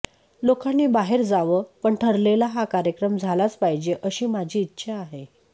लोकांनी बाहेर जावं पण ठरलेला हा कार्यक्रम झालाच पाहीजे अशी माझी इच्छा आहे